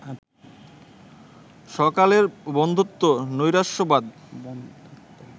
স্বকালের বন্ধ্যাত্ব, নৈরাশ্যবাদ